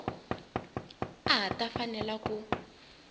a a ta fanela ku